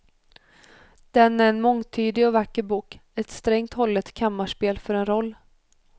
Den är en mångtydig och vacker bok, ett strängt hållet kammarspel för en roll.